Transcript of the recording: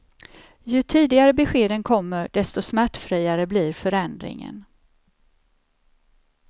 Ju tidigare beskeden kommer, desto smärtfriare blir förändringen.